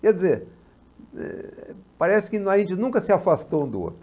Quer dizer, eh, parece que a gente nunca se afastou um do outro.